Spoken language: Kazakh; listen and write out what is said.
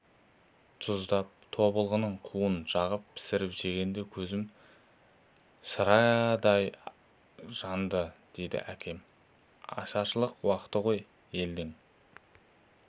тұздап тобылғының қуын жағып пісіріп жегенде көзім шырадай жанды дейтін әкем ашаршылық уақыты ғой елдің